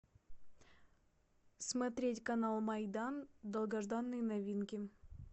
смотреть канал майдан долгожданные новинки